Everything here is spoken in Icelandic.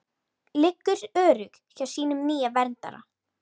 Liggur örugg hjá sínum nýja verndara.